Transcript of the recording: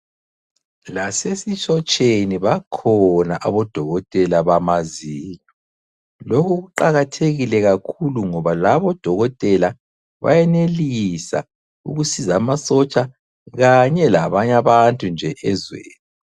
Lasesisotsheni bakhona abodokotela bamazinyo. Lokhu kuqakathekile kakhulu ngoba labo odokotela bayenelisa ukusizwa amasotsha kanye labanye abantu nje ezweni.